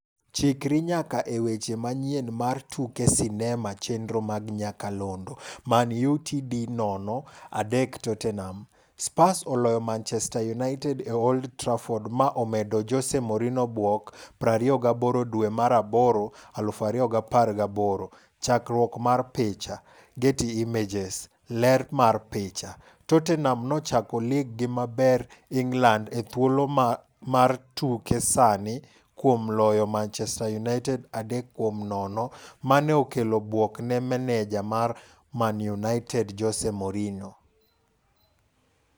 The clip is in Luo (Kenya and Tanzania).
Chikri nyaka e weche manyien mar tuke sinema chenro mag nyakalondo Man Utd 0-3 Tottenham: Spurs oloyo Manchester United e Old Trafford ma omedo Jose Mourinho buok 28 dwe mar aboro 2018. Chakruok mar picha, Getty Images. Ler mar picha, Tottenham nochako lig gi maber England e thuolo mar tuke sani kuom loyo manchester United 3-0 mane okelo buok ne maneja mar Man United, Jose Mourinho.